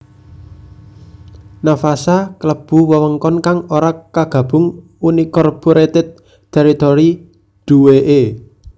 Navassa klebu wewengkon kang ora kagabung unincorporated territory duwèké